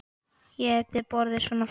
Ætíð borið svona fram.